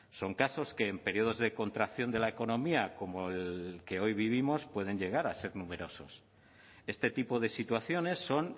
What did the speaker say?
son casos que en periodos de contracción de la economía como el que hoy vivimos pueden llegar a ser numerosos este tipo de situaciones son